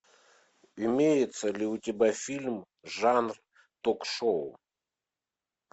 имеется ли у тебя фильм жанр ток шоу